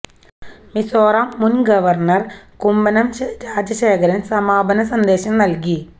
മിസോറം മുന് ഗവര്ണര് കുമ്മനം രാജശേഖരന് സമാപന സന്ദേശം നല്കി